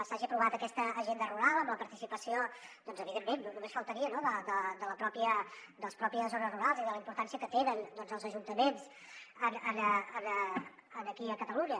s’hagi aprovat aquesta agenda rural amb la participació evidentment només faltaria no de les pròpies zones rurals i la importància que tenen els ajuntaments aquí a catalunya